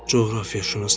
Coğrafiyaşünas nədir?